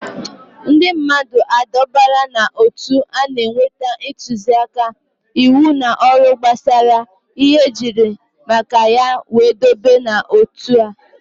Ndị mmadụ adọbara n'ótú na-enweta ntụzịaka, íwú na ọrụ gbasara ihe ejiri maka ya wee dọbaa ha n'otu